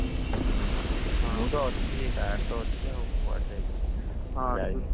ହୁଁ ହୁଁ ମୁ ତ ଅଛି ଗାଁରେ ତ ଅଛି ଆଉ କୁଆଡେ ଯାଇଛି ଯେ କୁଆଡେ ଯାଇନି